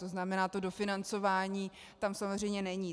To znamená, to dofinancování tam samozřejmě není.